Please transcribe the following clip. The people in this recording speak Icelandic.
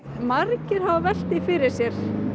margir hafa velt því fyrir sér